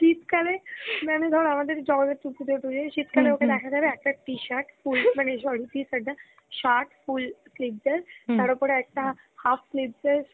শীতকালে মানে ধর আমাদের জগধার্ত্রী পুজোয় টুজোয় মানে ওকে দেখা যাবে একটা t-shirt না t-shirt না sorry মানে shirt full sleeveless তার উপর একটা half sleeveless